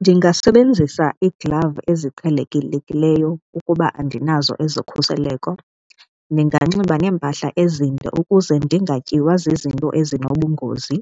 Ndingasebenzisa iiglavu eziqhelekileyo ukuba andinazo ezokhuseleko, ndinganxiba neempahla ezinde ukuze ndingatyiwa zizinto ezinobungozi.